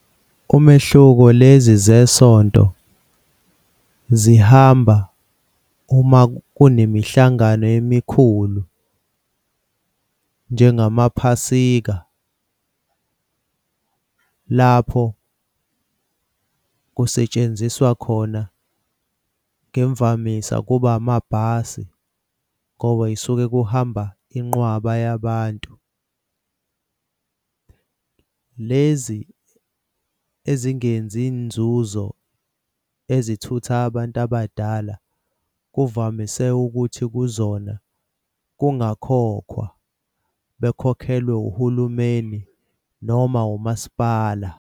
Umehluko, lezi zesonto zihamba uma kunemihlangano emikhulu njengamaphasika lapho kusetshenziswa khona ngemvamisa kuba amabhasi ngoba esuke kuhamba inqwaba yabantu. Lezi ezingenzi nzuzo ezithutha abantu abadala kuvamise ukuthi kuzona kungakhokhwa bekhokhelwe uhulumeni noma umasipala.